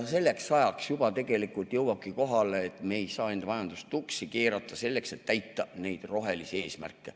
Selleks ajaks juba jõuabki kohale, et me ei saa enda majandust tuksi keerata, selleks et täita neid rohelisi eesmärke.